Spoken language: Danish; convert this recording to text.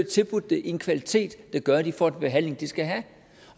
tilbudt det i en kvalitet der gør at de får den behandling de skal have